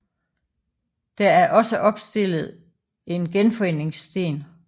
Der er også opstillet en genforeningssten